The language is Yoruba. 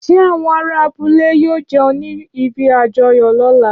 Ṣé àwọn ará abúlé yóò jẹun ní ibi àjọyọ̀ lóla?